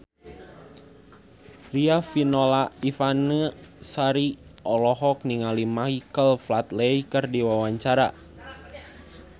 Riafinola Ifani Sari olohok ningali Michael Flatley keur diwawancara